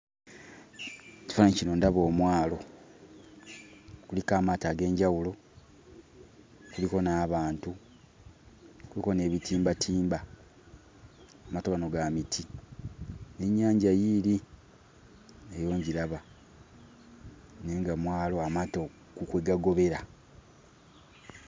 Ekifaananyi kino ndaba omwalo. Kuliko amaato ag'enjawulo, kuliko n'abantu, kuliko n'ebitimbatimba. Amaato gano ga miti n'ennyanja yiiri nayo ngiraba, naye nga mwalo amaato kwe kwe gagobera.